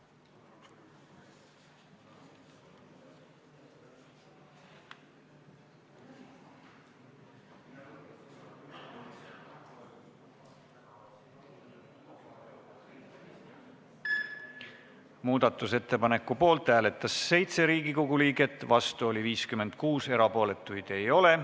Hääletustulemused Muudatusettepaneku poolt hääletas 7 Riigikogu liiget, vastu oli 56, erapooletuid ei ole.